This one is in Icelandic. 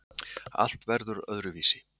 Allt verður öðruvísi.